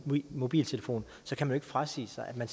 mobiltelefon frasige sig at